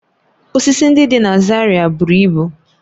Osisi ndị dị na Zaria buru ibu